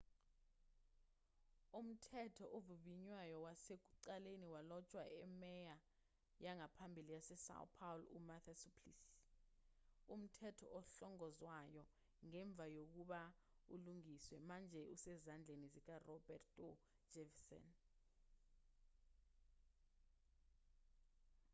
umthetho ovivinywayo wasekuqaleni walotshwa imeya yangaphambili yasesão paulo umarta suplicy. umthetho ohlongozwayo ngemva kokuba ulungiswe manje usezandleni zikaroberto jefferson